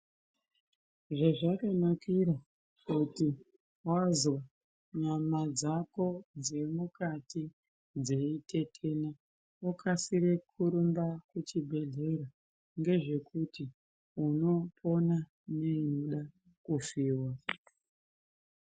Zvezvakanakira kuti vazonyama dzako dzemukati dzeitetena okasire kurumba kuchibhedhleya. Ngezvekuti unopona neinoda kufiva.